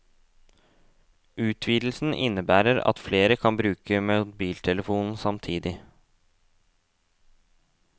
Utvidelsen innebærer at flere kan bruke mobiltelefonen samtidig.